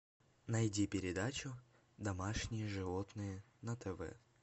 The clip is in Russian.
найди передачу домашние животные на тв